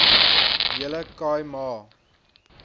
hele khai ma